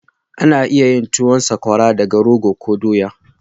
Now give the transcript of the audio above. Ana iya yin tuwan sakwara daga rogo ko dowa